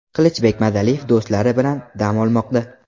Qilichbek Madaliyev do‘stlari bilan dam olmoqda.